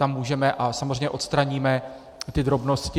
Tam můžeme, a samozřejmě odstraníme ty drobnosti.